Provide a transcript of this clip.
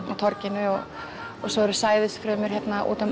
á torginu og svo eru sæðisfrumur hérna út um